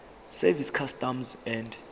service customs and